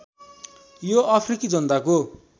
यो अफ्रिकी जनताको